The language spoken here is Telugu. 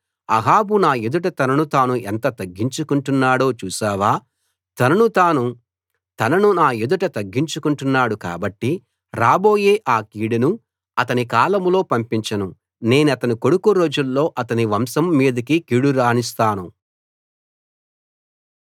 అహాబు నా ఎదుట తనను తాను ఎంత తగ్గించుకుంటున్నాడో చూశావా తనను నా ఎదుట తగ్గించుకుంటున్నాడు కాబట్టి రాబోయే ఆ కీడును అతని కాలంలో పంపించను నేనతని కొడుకు రోజుల్లో అతని వంశం మీదికి కీడు రానిస్తాను